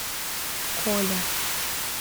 коля